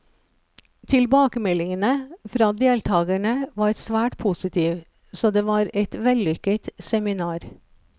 Tilbakemeldingene fra deltakerne var svært positiv, så det var et vellykket seminar.